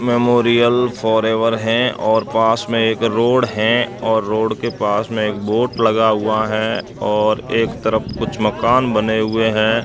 Memorial forever है और पास में एक रोड है और रोड के पास में एक बोट लगा हुआ है और एक तरफ कुछ मकान बने हुए हैं।